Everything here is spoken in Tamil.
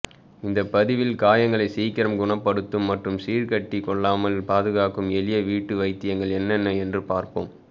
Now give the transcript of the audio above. இந்த பதிவில் காயங்களை சீக்கிரம் குணப்படுத்தும் மற்றும் சீழ்கட்டி கொள்ளாமல் பாதுகாக்கும் எளிய வீட்டு வைத்தியங்கள் என்னென்ன என்று பார்ப்போம்